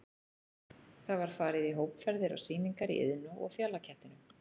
Það var farið í hópferðir á sýningar í Iðnó og Fjalakettinum.